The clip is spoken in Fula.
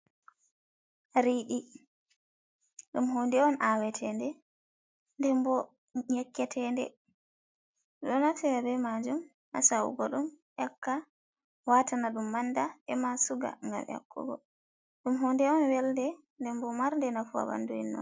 Riiɗi, ɗum hunnde on ahwetende, ndenbo yakketende, ɓeɗon naftira bee majum ha sa'ugo yakka, watana ɗum manda, e ma suga, ngam yakkugo ɗum, hunnde on welnde ndenbo marnde nafu ha ɓanndu innu.